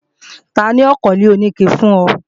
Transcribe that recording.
Tani ó kọ́lé oníke fún ọ?